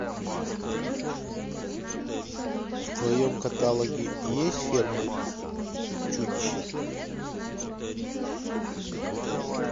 в твоем каталоге есть ферма чудища